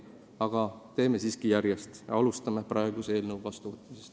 Aga teeme asju siiski järjest ja alustame selle praeguse eelnõu vastuvõtmisest.